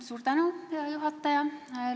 Suur tänu, hea juhataja!